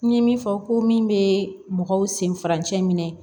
N ye min fɔ ko min bɛ mɔgɔw sen farancɛ minɛ